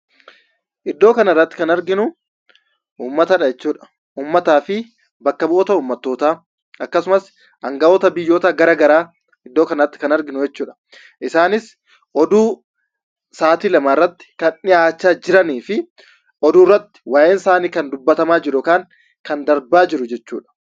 Iddoo kanarratti kan arginu uummatadha jechuudha. Uummataa fi bakka bu'oota uummattootaa, akkasumas aanga'oota biyyoota garaa garaa iddoo kanatti kan arginu jechuudha. Isaanis oduu sa'aatii lamaa irratti kan dhiyaachaa jiraniifi oduurratti waa'een isaanii kan dubbatamaa jiru yookiin kan darbaa jiru jechuudha